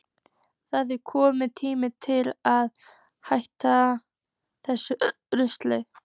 Það er kominn tími til að hætta þessu rugli!